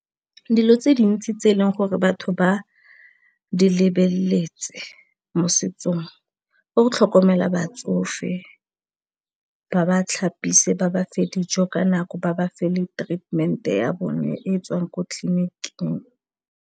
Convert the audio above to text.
Dilo tse dintsi tse e leng gore batho ba di lebeletse mo setsong go tlhokomela batsofe ba ba tlhapise, ba ba fe dijo ka nako, ba ba fe le treatment-e ya bone e tswang ko tleliniking.